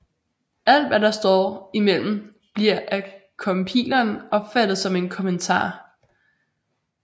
Alt hvad der står i mellem bliver af compileren opfattet som en kommentar